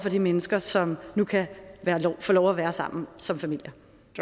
de mennesker som nu kan få lov at være sammen som familier